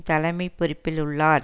தலைமை பொறுப்பில் உள்ளார்